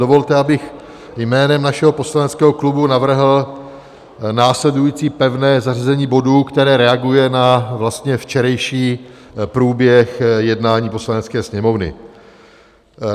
Dovolte, abych jménem našeho poslaneckého klubu navrhl následující pevné zařazení bodů, které reaguje na vlastně včerejší průběh jednání Poslanecké sněmovny.